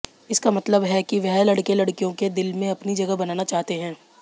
इसका मतलब है कि वह लड़के लड़कियों के दिल में अपनी जगह बनाना चाहते हैं